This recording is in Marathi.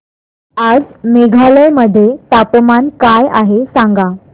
आज मेघालय मध्ये तापमान काय आहे सांगा